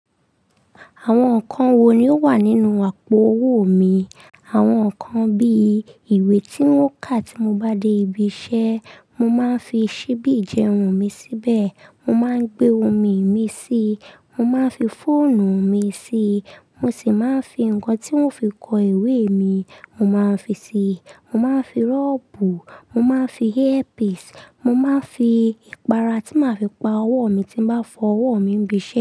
Àwọn nǹkan wo ni ó wà nínú àpò owó mi? Àwọn nǹkan bí i ìwé tí un kà tí mo bá dé ibi iṣẹ́, mo máa ń fi ṣíbí ijẹun mi síbẹ̀, mo máa ń gbé omi mi síi, mo máa ń fi fóònù mi síi, mo sì máa ń fi nǹkan tí n fi kọ ìwé mi, mo máa ń fi síi, mo máa ń fi rọ́ọ̀bù, mo máa ń fi airpiece, mo máa ń fi ìpara tí màá fi pa owó mi tí bá fọ owó mi níbi iṣẹ́.